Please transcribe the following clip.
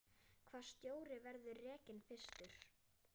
Hvaða stjóri verður rekinn fyrstur?